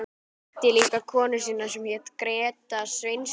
Kynnti líka konu sína sem hét Gréta Sveinsdóttir.